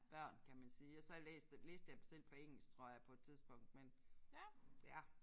Børn kan man sige og så har jeg læst dem læste jeg dem selv på engelsk tror jeg på et tidspunkt men ja